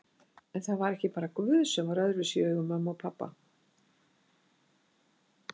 En það var ekki bara guð sem var öðruvísi í augum mömmu en pabba.